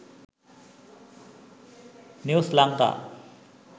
news lanka